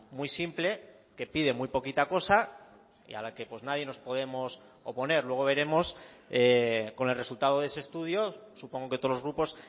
muy simple que pide muy poquita cosa y a la que nadie nos podemos oponer luego veremos con el resultado de ese estudio supongo que todos los grupos